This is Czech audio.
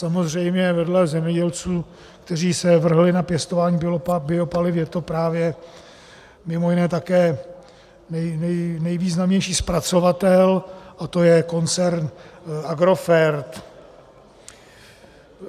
Samozřejmě vedle zemědělců, kteří se vrhli na pěstování biopaliv, je to právě mimo jiné také nejvýznamnější zpracovatel a to je koncern Agrofert.